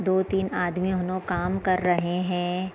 दो-तीन आदमी काम कर रहे हैं।